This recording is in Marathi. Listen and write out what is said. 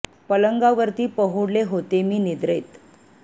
पलंगावरती पहुडले होते मी निद्रेत